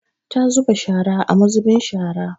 Ta zuba shara a muzubin shara.